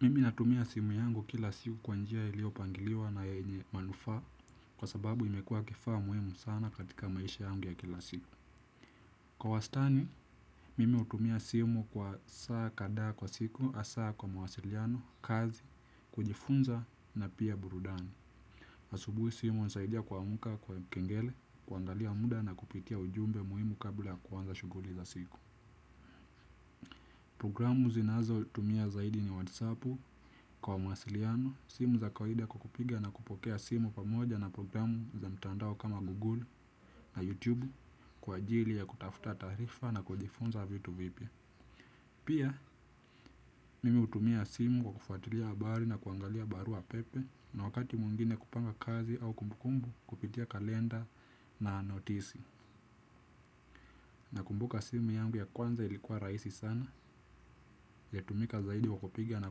Mimi natumia simu yangu kila siku kwa njia iliyopangiliwa na yenye manufaa kwa sababu imekua kifaa muhimu sana katika maisha yangu ya kila siku. Kwa wastani, mimi hutumia simu kwa saa kadaa kwa siku, hasa kwa mawasiliano, kazi, kujifunza na pia burudani. Asubuhi simu hunisaidia kuamka kwa kengele, kuangalia muda na kupitia ujumbe muhimu kabla ya kuanza shuguli za siku. Programu zinazo tumia zaidi ni whatsappu kwa masiliano, simu za kwaida kwa kupiga na kupokea simu pamoja na programu za mtandao kama google na youtube kwa ajili ya kutafuta taarifa na kujifunza vitu vipya. Pia, mimi hutumia simu kwa kufuatilia habari na kuangalia barua pepe na wakati mwingine kupanga kazi au kumbukumbu kupitia kalenda na notisi. Na kumbuka simu yangu ya kwanza ilikuwa rahisi sana ya tumika zaidi kwa kupigia na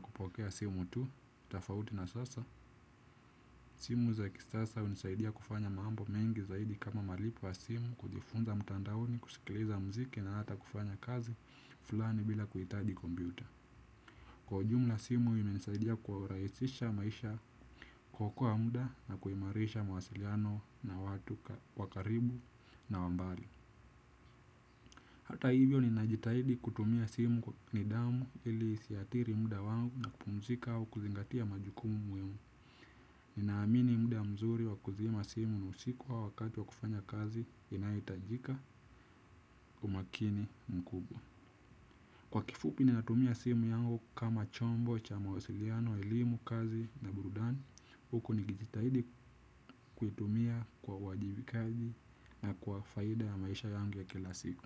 kupokea simu tu, tafauti na sasa, simu za ki sasa hunisaidia kufanya mambo mengi zaidi kama malipo ya simu kujifunza mtandaoni, kusikiliza mziki na hata kufanya kazi fulani bila kuitadi kombyuta. Kwa jumla simu imenisaidia kwa urahisisha maisha kuokoa muda na kuimarisha mawasiliano na watu wa karibu na wambali. Hata hivyo ni najitahidi kutumia simu ni damu ili isiadhiri muda wangu na kupumzika wa kuzingatia majukumu muhimu. Ninaamini muda mzuri wa kuzima simu ni usiku au wakati wa kufanya kazi inaitajika umakini mkubwa. Kwa kifupi ninatumia simu yangu kama chombo cha mawasiliano, elimu, kazi na burudani, huku nikijitahidi kuitumia kwa uwaajibikaji na kwa faida ya maisha yangu ya kila siku.